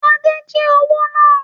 Adé jí owó náà